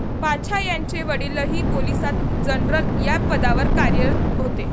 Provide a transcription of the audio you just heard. पाछा यांचे वडीलही पोलिसात जनरल या पदावर कार्यरत होते.